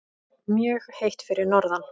Mjög heitt fyrir norðan